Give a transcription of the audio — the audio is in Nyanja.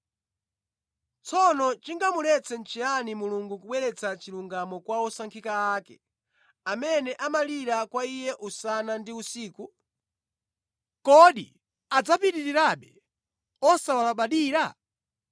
Tsono chingamuletse nʼchiyani Mulungu kubweretsa chilungamo kwa osankhika ake, amene amalira kwa Iye usana ndi usiku? Kodi adzapitirirabe osawalabadira?